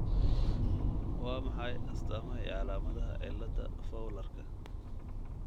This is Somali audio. Waa maxay astaamaha iyo calaamadaha cillada fowlarka?